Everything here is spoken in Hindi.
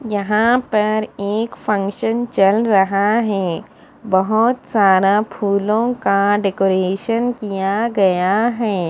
यहा पर एक फंक्सन चल रहा है बहोत सारा फूलो का डेकोरेशन किया गया है।